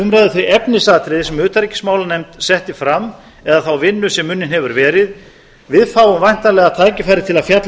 umræðu þau efnisatriði sem utanríkismálanefnd setti fram eða þá vinnu sem unnin hefur verið við fáum væntanlega tækifæri til að fjalla